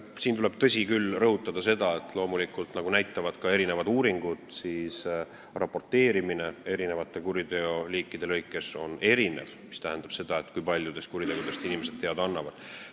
Siin tuleb, tõsi küll, rõhutada seda, et loomulikult, nagu näitavad ka mitmed uuringud, eri kuriteoliikidest raporteerimine ehk see, kui paljudest kuritegudest inimesed teada annavad, on erinev.